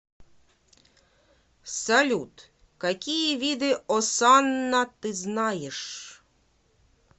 салют какие виды осанна ты знаешь